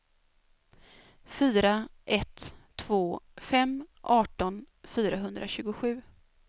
fyra ett två fem arton fyrahundratjugosju